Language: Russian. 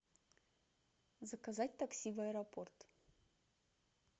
заказать такси в аэропорт